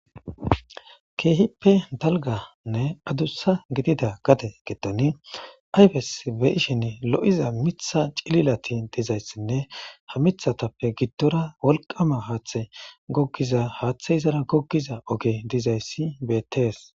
Keehippe dalganne adussa gidida gade getoni ayfes beishen lo7iza mitha cililati dizayssinne ha mithatappe giddora wolqama haaththe gogiza haaththe izara goggiza oge dizayssi beettees